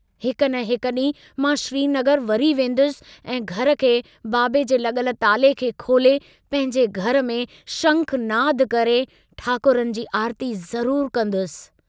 हिक न हिक डींहुं मां श्रीनगर वरी वेन्दुस ऐं घर खे बाबे जे लगल ताले खे खोले पंहिंजे घर में शंखानन्द करे ठाकुरनि जी आरती ज़रूर कंदुसि।